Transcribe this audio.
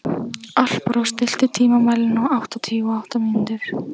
Alparós, stilltu tímamælinn á áttatíu og átta mínútur.